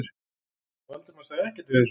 Valdimar sagði ekkert við þessu.